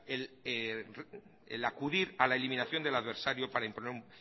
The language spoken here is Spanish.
el acudir a la eliminación del adversario para imponer